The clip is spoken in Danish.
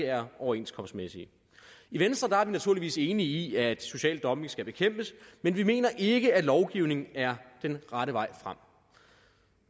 er overenskomstmæssige i venstre er vi naturligvis enige i at social dumping skal bekæmpes men vi mener ikke at lovgivning er den rette vej frem